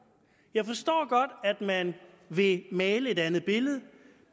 jeg forstår godt at man vil male et andet billede